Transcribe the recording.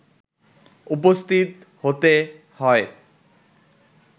উপস্থিত হতে হয়